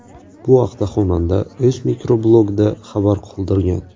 Bu haqda xonanda o‘z mikroblogida xabar qoldirgan .